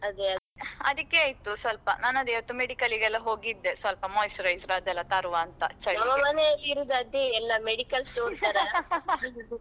ಅದಕ್ಕೆ ಆಯ್ತು ಸ್ವಲ್ಪ ನಾನ್ ಅದೇ ಇವತ್ತು medical ಗೆಲ್ಲಾ ಹೋಗಿದ್ದೆ ಸ್ವಲ್ಪ moisturizer ಅದೆಲ್ಲಾ ತರುವಂತಾ ಚಳಿಗೆ.